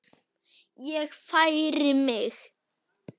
Ég færi mig.